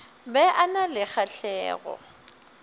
be a na le kgahlego